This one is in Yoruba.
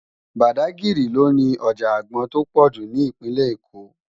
Bádágiri lò ni òjá ágbòn tó pòjú ni Ipinlè-Ékó